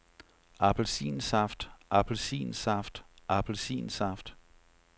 appelsinsaft appelsinsaft appelsinsaft